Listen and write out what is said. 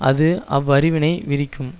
அது அவ்வறிவினை விரிக்கும்